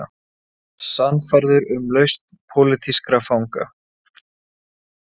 Sannfærður um lausn pólitískra fanga